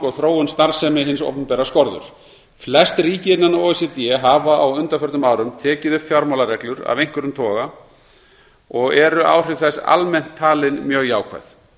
og þróun starfsemi hins opinbera skorður flest ríki innan o e c d hafa á undanförnum árum tekið upp fjármálareglur af einhverjum toga og eru áhrif þess almennt talin mjög jákvæð